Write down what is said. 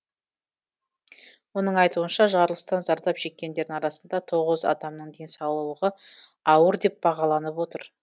оның айтуынша жарылыстан зардап шеккендердің арасында тоғыз адамның денсаулығы ауыр деп бағаланып отыр